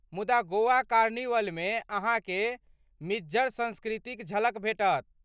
मुदा गोवा कार्निवलमे अहाँ के मिज्झड़ संस्कृतिक झलक भेटत ।